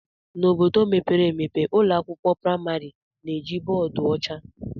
N'obodo mepere emepe, ụlọ akwụkwọ praịmarị na-eji bọọdụ ọcha.